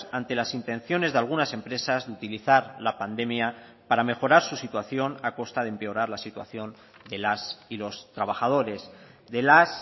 ante las intenciones de algunas empresas de utilizar la pandemia para mejorar su situación a costa de empeorar la situación de las y los trabajadores de las